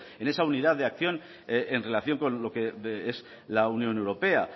en esa unidad de acción en relación con lo que es la unión europea